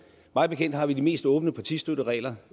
mig bekendt har vi de mest åbne partistøtteregler